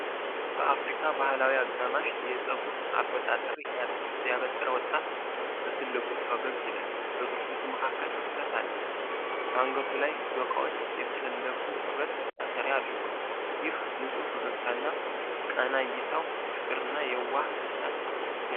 በአፍሪካ ባህላዊ አጋማሽ የፀጉር አበጣጠር ያበጠረ ወጣት በትልቁ ፈገግ ይላል። በጥርሶቹ መካከል ክፍተት አለ። ከአንገቱ ላይ ዶቃዎች የተሰፉበት ማሰሪያ አድርጓል። ይህ ንጹሕ ፈገግታና ቀና እይታው ፍቅርንና የዋህ ደስታን ይገልጻል።